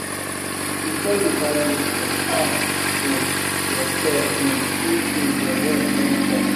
Before you buy new phone, ask um yourself um if um your rent don complete.